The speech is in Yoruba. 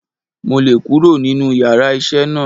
Mo le kúrò nínú yàrá isé náà